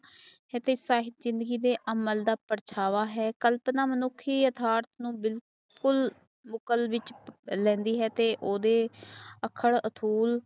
ਜਿਨਦੀ ਦੇ ਅਮਲ ਦਾ ਪਾਰਛਾਵਾਂ ਹੈ ਕਲਪਨਾ ਮਨੁੱਖੀ ਅਦਾਰਥ ਨੂੰ ਬਿਲਕੁਲ ਬੁਕਲ ਵਿੱਚ ਲੈਂਦੀ ਹੈ ਤੇ ਓਦੇ ਅਖਾਲ ਅਤਹੁਲ